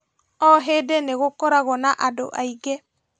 O hĩndĩ nĩgũkoragwo na andũ aingĩ